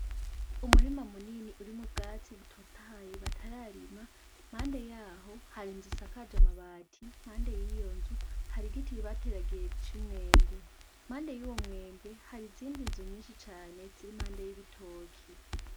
Umurima munini urimwo ubwatsi butotahaye batararima impande yaho hari inzu isakaje amabati impande yiyonzu hari igiti bateragiye c'imyembe impande yuwo mwembe hari izindi nzu nyishi cane ziri impande y'ibitoki.